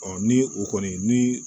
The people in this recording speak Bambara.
ni o kɔni ni